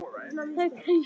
Það er svo margt.